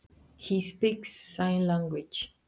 Hann talar táknmál.